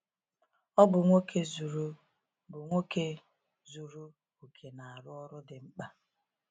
Ọ bụ nwoke zuru bụ nwoke zuru oke na-arụ ọrụ dị mkpa.